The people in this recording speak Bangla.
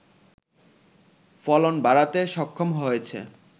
ফলন বাড়াতে সক্ষম হয়েছে